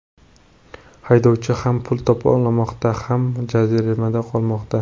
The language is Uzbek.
Haydovchi ham pul to‘lamoqda, ham jaziramada qolmoqda.